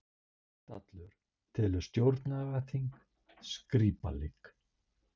Heimdallur telur stjórnlagaþing skrípaleik